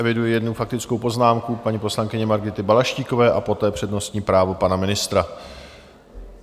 Eviduji jednu faktickou poznámku paní poslankyně Margity Balaštíkové a poté přednostní právo pana ministra.